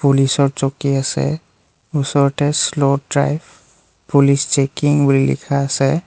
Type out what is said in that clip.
পুলিচৰ চকী আছে ওচৰতে শ্লো ড্ৰাইভ পুলিচ চেকিং বুলি লিখা আছে।